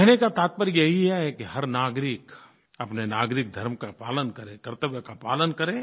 कहने का तात्पर्य यही है कि हर नागरिक अपने नागरिक धर्म का पालन करे कर्तव्य का पालन करे